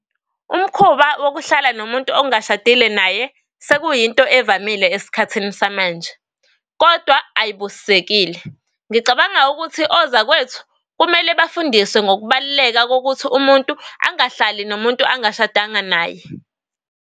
Umkhuba wokuhlala nomuntu ongashadile naye, sekuyinto evamile esikhathini samanje kodwa ayibusisekile. Ngicabanga ukuthi ozakwethu kumele bafundiswe ngokubaluleka kokuthi umuntu angahlali nomuntu angashadanga naye.